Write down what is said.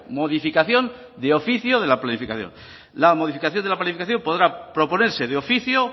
modificación de oficio de la planificación la modificación de la planificación podrá proponerse de oficio